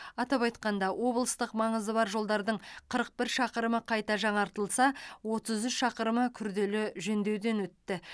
атап айтқанда облыстық маңызы бар жолдардың қырық бір шақырымы қайта жаңартылса отыз үш шақырымы күрделі жөндеуден өтті